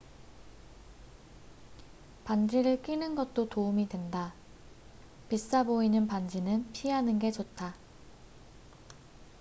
반지를 끼는 것도 도움이 된다비싸 보이는 반지는 피하는 게 좋다